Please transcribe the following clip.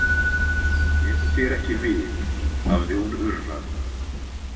Kemur þér ekki við, hafði hún urrað.